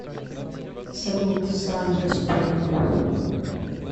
салют срань господня